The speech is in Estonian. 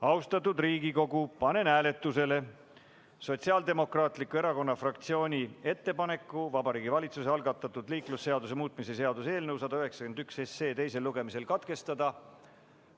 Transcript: Austatud Riigikogu, panen hääletusele Sotsiaaldemokraatliku Erakonna fraktsiooni ettepaneku Vabariigi Valitsuse algatatud liiklusseaduse muutmise seaduse eelnõu 191 teisel lugemisel katkestada.